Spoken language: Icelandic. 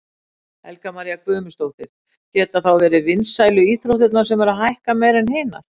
Helga María Guðmundsdóttir: Geta þá verið vinsælu íþróttirnar sem eru að hækka meira en hinar?